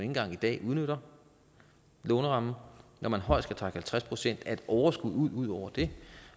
engang i dag udnytter lånerammen når man højst kan trække halvtreds procent af et overskud ud udover det